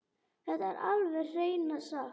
Þetta er alveg hreina satt!